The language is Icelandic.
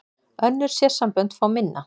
Önnur sérsambönd fá minna